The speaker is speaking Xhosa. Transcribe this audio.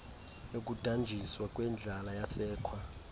yokudanjiswa kwendlala yasekwa